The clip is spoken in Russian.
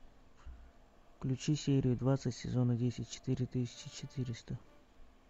включи серию двадцать сезона десять четыре тысячи четыреста